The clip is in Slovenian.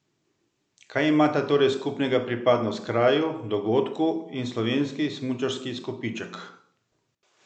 Kaj imata torej skupnega pripadnost kraju, dogodku in slovenski smučarski izkupiček?